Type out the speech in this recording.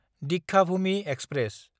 Deekshabhoomi express